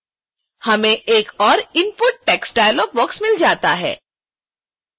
हमें एक और input text डायलाग बॉक्स मिल जाता है